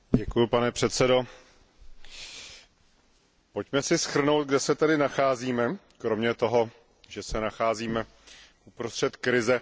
Pane předsedo, pojďme si shrnout, kde se tedy nacházíme, kromě toho, že se nacházíme uprostřed krize.